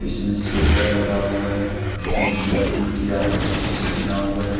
इसमें शेटर लगा हुआ है और इसमें फूल की आकृति से बना हुआ है।